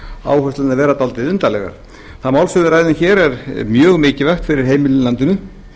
áherslurnar vera dálítið undarlegar það mál sem við ræðum hér er mjög mikilvægt fyrir heimilin í landinu